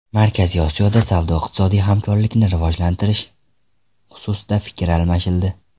Markaziy Osiyoda savdo-iqtisodiy hamkorlikni rivojlantirish xususida fikr almashildi.